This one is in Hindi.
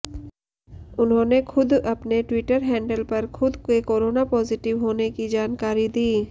उन्होंने खुद अपने ट्विटर हैंडल पर खुद के कोरोना पॉजिटिव होने की जानकारी दी